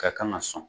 Ka kan ka sɔn